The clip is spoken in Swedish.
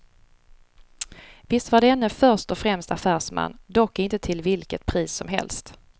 Visst var denne först och främst affärsman, dock inte till vilket pris som helst.